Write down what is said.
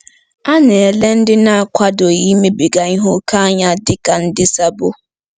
A na-ele ndị na-akwadoghị imebiga ihe ókè anya dị ka ndị sabo.